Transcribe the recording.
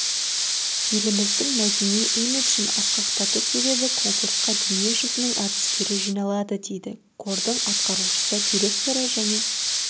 еліміздің мәдени имиджін асқақтату себебі конкурсқа дүние жүзінің әртістері жиналады дейді қордың атқарушы директоры және